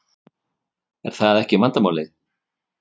Er það ekki vandamál?